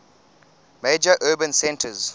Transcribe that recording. major urban centres